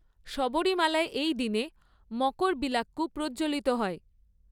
শবরীমালায়, এই দিনে, মকরবিলাক্কু প্রজ্জ্বলিত হয়।